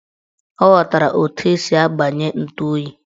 Ọ ghọtara etu esi agbanye ntu oyi